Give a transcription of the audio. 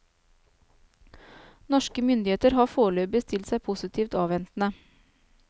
Norske myndigheter har foreløpig stilt seg positivt avventende.